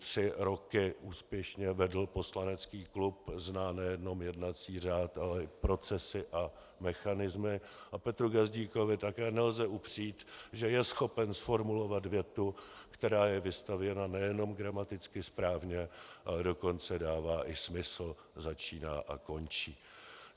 Tři roky úspěšně vedl poslanecký klub, zná nejenom jednací řád, ale i procesy a mechanismy, a Petru Gazdíkovi také nelze upřít, že je schopen zformulovat větu, která je vystavěna nejenom gramaticky správně, ale dokonce dává i smysl, začíná a končí.